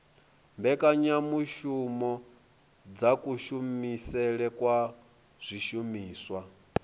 mbekanyamushumo dza kushumisele kwa zwishumiswa